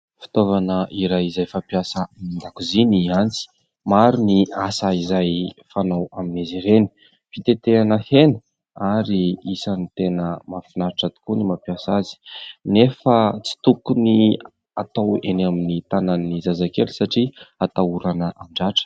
Fitaovana iray izay fampiasa ao an-dakozia ny antsy. Maro ny asa izay fanao amin'izy ireny. Fitetehana hena ary isan'ny tena mahafinaritra tokoa ny mampiasa azy. Nefa tsy tokony atao eny amin'ny tanan'ny zazakely satria atahorana handratra.